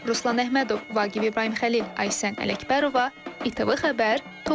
Ruslan Əhmədov, Vaqif İbrahimxəlil, Aysən Ələkbərova, İTV xəbər, Tovuz.